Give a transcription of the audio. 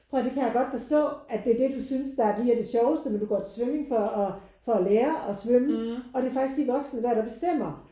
Prøv at høre det kan jeg godt forstå at det er det du synes der er lige det sjoveste men du går til svømning for at for at lære at svømme og det er faktisk de voksne der der bestemmer